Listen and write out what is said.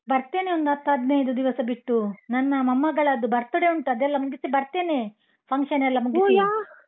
ಬರ್ತೇನೆ ಒಂದು ಹತ್ತು ಹದ್ನೈದು ದಿವಸ ಬಿಟ್ಟು, ನನ್ನ ಮೊಮ್ಮಗಳದ್ದು birthday ಉಂಟು ಅದೆಲ್ಲ ಮುಗಿಸಿ ಬರ್ತೇನೆ, function ಎಲ್ಲ .